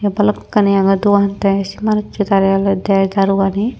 balukani agey dogan tey say manus so tara ola der daru gani.